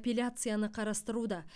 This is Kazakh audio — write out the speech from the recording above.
апелляцияны қарастыруда